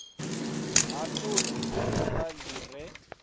ha todi dzuvha li re